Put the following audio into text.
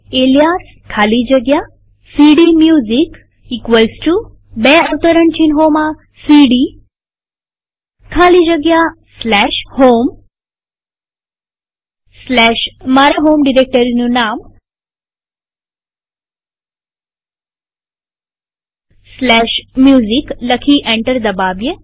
alias ખાલી જગ્યા CD music બે અવતરણ ચિહ્નોમાં સીડી ખાલી જગ્યા સ્લેશ હોમ સ્લેશ મારા હોમ ડિરેક્ટરીનું નામ સ્લેશ મ્યુઝિક લખી અને એન્ટર દબાવીએ